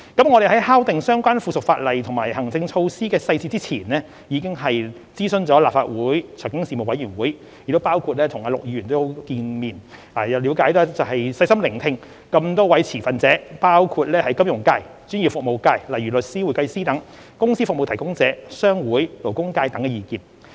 我們在敲定相關附屬法例及行政措施的細節前，已諮詢了立法會財經事務委員會，亦包括與陸頌雄議員見面，了解及細心聆聽各持份者包括金融界、專業服務界、公司服務提供者、商會、勞工界等的意見。